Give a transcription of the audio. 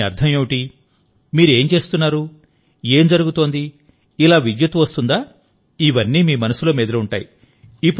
దీని అర్థం ఏమిటి మీరు ఏం చేస్తున్నారు ఏం జరుగుతుంది ఇలా విద్యుత్తు వస్తుందా ఇవన్నీ మీ మనసులో మెదిలి ఉంటాయి